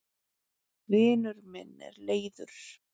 vinur minn er leiður